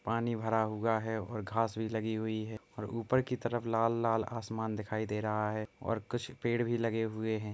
पानी भरा हुआ है और घास भी लगी हुई है और ऊपर की तरफ लाल-लाल आसमान दिखाई दे रहा है और कुछ पेड़ भी लगे हुए हैं।